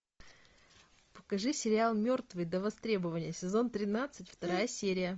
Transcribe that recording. покажи сериал мертвый до востребования сезон тринадцать вторая серия